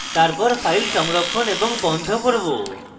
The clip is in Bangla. তারপর file সংরক্ষণ এবং বন্ধ করব